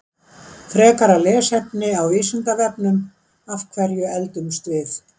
Frekara lesefni á Vísindavefnum: Af hverju eldumst við?